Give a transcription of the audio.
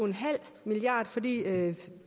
milliard kr fordi